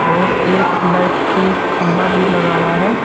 और एक लाइट की खंबा भी लगा हुआ है।